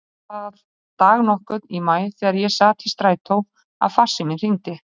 Svo var það dag nokkurn í maí þegar ég sat í strætó að farsíminn hringdi.